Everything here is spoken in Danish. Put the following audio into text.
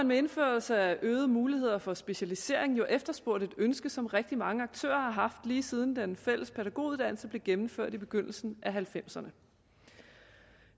med indførelse af øgede muligheder for specialisering jo efterspurgt et ønske som rigtig mange aktører har haft lige siden den fælles pædagoguddannelse blev gennemført i begyndelsen af nitten halvfemserne